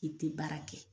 I tɛ baara kɛ